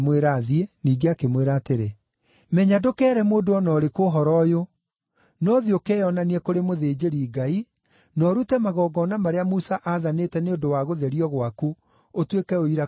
ningĩ akĩmwĩra atĩrĩ, “Menya ndũkeere mũndũ o na ũrĩkũ ũhoro ũyũ. No thiĩ ũkeyonanie kũrĩ mũthĩnjĩri-Ngai, na ũrute magongona marĩa Musa aathanĩte nĩ ũndũ wa gũtherio gwaku, ũtuĩke ũira kũrĩ o.”